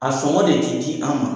A sɔngɔ de tɛ di an ma.